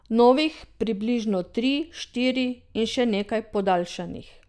Novih približno tri, štiri in še nekaj podaljšanih.